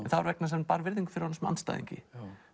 það var vegna þess að hann bar virðingu fyrir honum sem andstæðingi